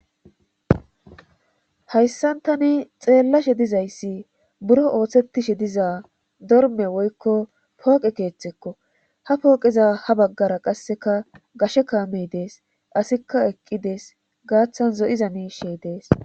hayssan tani xeellashe dizayssi buro ooththetishe diza dorme woykko pooqe keeththekko ha pooqeza ha baggara qasseka gashe kaamey dees asikka eqqidees gaaththan zo7iza niishey dees